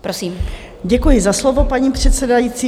Děkuji za slovo, paní předsedající.